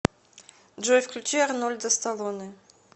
джой включи арнольда сталоне